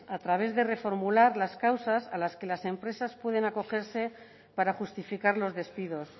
a través de reformular las causas a las que las empresas pueden acogerse para justificar los despidos